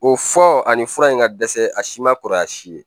O fɔ ani fura in ka dɛsɛ a si ma kɔrɔya si ye